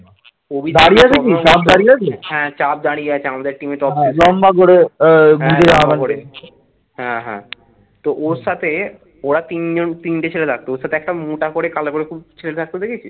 ওরা তিনজন তিনটে ছেলে থাকতো ওর সাথে একটা মোটা করে কালো করে খুব ছেলে থাকতো দেখেছিস?